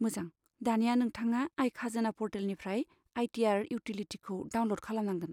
मोजां, दानिया नोंथाङा आय खाजोना पर्टेलनिफ्राय आइ.टि.आर. इउटिलिटिखौ डाउनल'ड खालामनांगोन।